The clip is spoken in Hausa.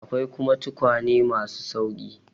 Akwai kuma tukwane ma su sauƙi.